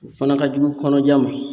O fana ka jugu kɔnɔja ma.